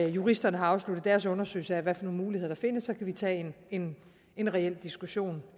juristerne har afsluttet deres undersøgelse af hvilke muligheder der findes så kan vi tage en en reel diskussion